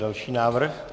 Další návrh.